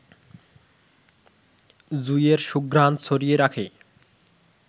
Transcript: জুঁইয়ের সুঘ্রাণ ছড়িয়ে রাখে